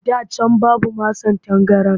Da can babu masan tangaran